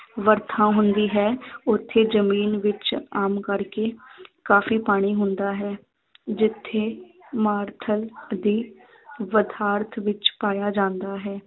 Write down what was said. ਵਰਖਾ ਹੁੰਦੀ ਹੈ ਉੱਥੇ ਜ਼ਮੀਨ ਵਿੱਚ ਆਮ ਕਰਕੇ ਕਾਫੀ ਪਾਣੀ ਹੁੰਦਾ ਹੈ ਜਿੱਥੇ ਮਾਰੂਥਲ ਦੀ ਵਿੱਚ ਪਾਇਆ ਜਾਂਦਾ ਹੈ।